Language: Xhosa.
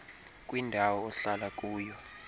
kwindawo ohlala kuyo